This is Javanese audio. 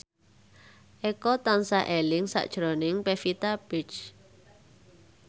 Eko tansah eling sakjroning Pevita Pearce